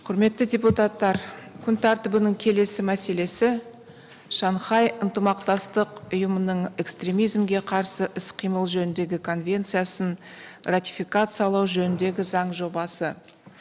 құрметті депутаттар күн тәртібінің келесі мәселесі шанхай ынтымақтастық ұйымының экстремизмге қарсы іс қимыл жөніндегі конвенциясын ратификациялау жөніндегі заң жобасы